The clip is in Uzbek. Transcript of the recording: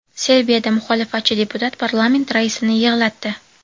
Serbiyada muxolifatchi deputat parlament raisini yig‘latdi .